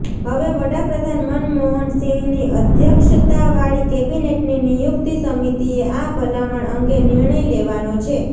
હવે વડાપ્રધાન મનમોહન સિંહની અધ્યક્ષતાવાળી કેબિનેટની નિયુક્તિ સમિતિએ આ ભલામણ અંગે નિર્ણય લેવાનો છે